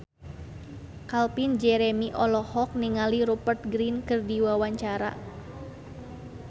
Calvin Jeremy olohok ningali Rupert Grin keur diwawancara